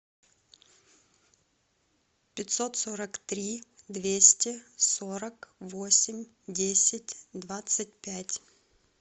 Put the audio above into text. пятьсот сорок три двести сорок восемь десять двадцать пять